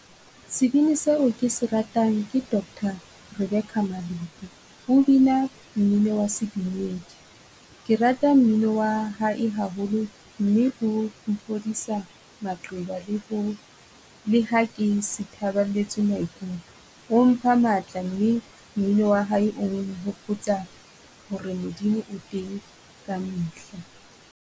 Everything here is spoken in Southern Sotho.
Sebini seo ke se ratang ke Dr Rebecca Malope. O bina mmino wa sedumedi, ke rata mmino wa hae haholo mme o mfodisa maqeba le ho le ha ke sithaballetswe maikutlo. O mpha matla mme mmino wa hae o hopotsa ho re Modimo o teng ka mehla.